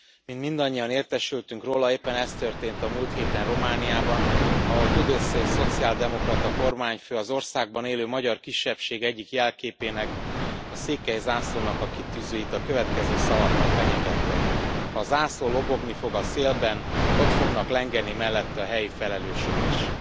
Mint mindannyian értesültek róla, éppen ez történt a múlt héten Romániában, ahol Tudose szociáldemokrata kormányfő az országban élő magyar kisebbség egyik jelképének, a székely zászlónak a kitűzőit a következő szavakkal fenyegette ha a zászló lobogni fog a szélben, ott fognak lengeni mellette a helyi felelősök is.